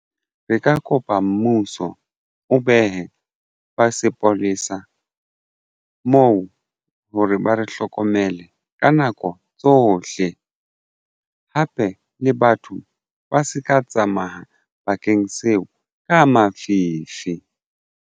Re ka kopa mmuso o behe ba sepolesa moo hore ba re hlokomele ka nako tsohle hape le batho ba se ka tsamaya bakeng seo ka mafifi.